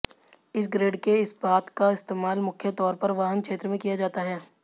इस ग्रेड के इस्पात का इस्तेमाल मुख्य तौर पर वाहन क्षेत्र में किया जाता है